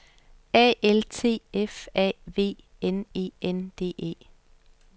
A L T F A V N E N D E